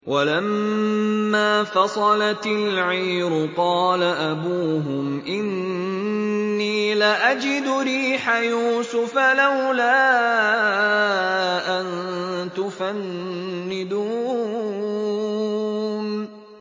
وَلَمَّا فَصَلَتِ الْعِيرُ قَالَ أَبُوهُمْ إِنِّي لَأَجِدُ رِيحَ يُوسُفَ ۖ لَوْلَا أَن تُفَنِّدُونِ